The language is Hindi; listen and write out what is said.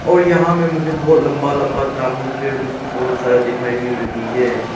और यहाँ में मुझे बहुत लंबा लंबा तामूल पेड़ भी बहुत सारा दिखाई मिल रही है।